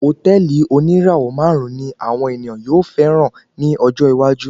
Hòtẹ́ẹ̀lì oníràwọ̀ máàrún ní àwọn ènìyàn yóò fẹràn ní ọjọ́ iwájú.